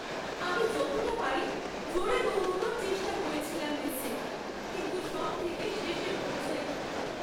আমি যতটা পারি জোরে দৌড়ানোর চেষ্টা করেছিলাম রেসে, কিন্তু সবথেকে শেষে পৌঁছাই।